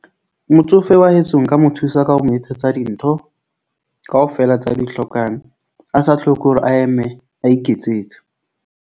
Motsofe wa heso nka mo thusa ka ho mo etsetsa dintho kaofela tse a di hlokang, a sa tlhoke hore a eme a iketsetse.